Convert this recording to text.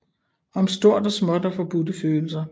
Om stort og småt og forbudte følelser